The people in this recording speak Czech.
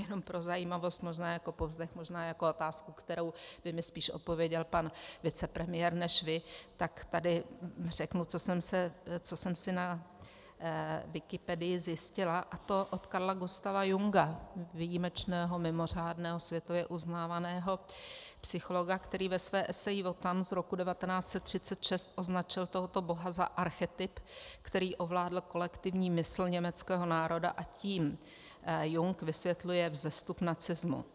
Jenom pro zajímavost, možná jako povzdech, možná jako otázku, kterou by mi spíš odpověděl pan vicepremiér než vy, tak tady řeknu, co jsem si na Wikipedii zjistila, a to od Carla Gustava Junga, výjimečného, mimořádného, světově uznávaného psychologa, který ve své eseji Wotan z roku 1936 označil tohoto boha za archetyp, který ovládl kolektivní mysl německého národa, a tím Jung vysvětluje vzestup nacismu.